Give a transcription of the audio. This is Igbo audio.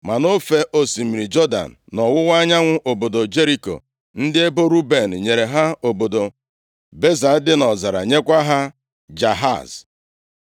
Ma nʼofe osimiri Jọdan, nʼọwụwa anyanwụ obodo Jeriko, ndị ebo Ruben nyere ha obodo Beza dị nʼọzara, nyekwa ha Jahaz,